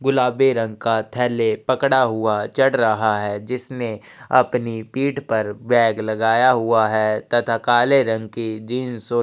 गुलाबी रंग का थैले पकड़ा हुआ है चढ़ रहा है जिसने अपनी पीठ पर बैग लगाया हुआ है तथा काले रंग की जीन्स और--